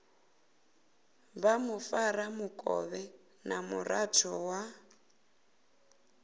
vha mufaramukovhe na muraḓo wa